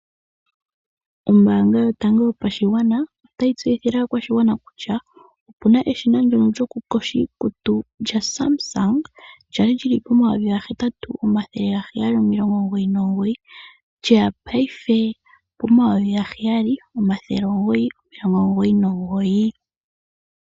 Ombaanga yotango yopashigwana otayi tseyithile aakwashigwana kutya opuna eshina ndyono lyokuyoga iikutu lyaSamsung lyali lyili komayovi gahetatu, omathele gaheyali nomilongo omugoyi nomugoyi lyeya paife pomayovi gaheyali, omathele omugoyi nomilongo omugoyi nomugoyi.